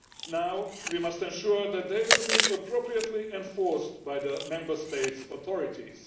Now we must ensure that they will be appropriately enforced by the Member State authorities.